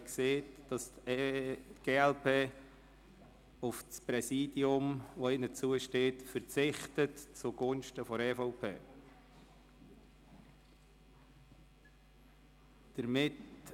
sie hat gesagt, die glp verzichte zugunsten der EVP auf das ihr zustehende Präsidium.